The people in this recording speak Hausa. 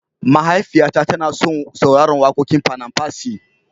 mahaifiya ta tana son sauraran wakoƙin panam percy